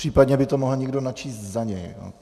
Případně by to mohl někdo načíst za něj.